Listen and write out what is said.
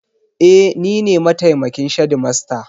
E, ni ne mataimakin shedimasta.